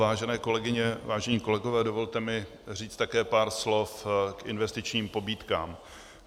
Vážené kolegyně, vážení kolegové, dovolte mi říct také pár slov k investičním pobídkám.